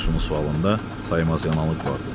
Dadaşovun sualında saymazyanalıq vardı.